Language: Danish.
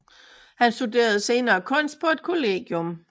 Han studerede senere kunst på et kollegium